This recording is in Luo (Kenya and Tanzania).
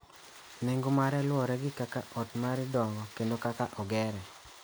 Nengo mare luwore gi kaka ot mari dongo kendo kaka ogere.